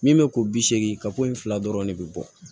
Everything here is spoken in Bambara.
Min bɛ ko bi seegin ka ko in fila dɔrɔn ne bi bɔ